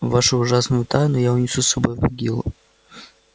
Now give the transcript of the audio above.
вашу ужасную тайну я унесу с собой в могилу